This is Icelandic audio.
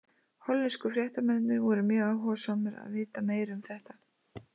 Hollensku fréttamennirnir voru mjög áhugasamir að vita meira um þetta.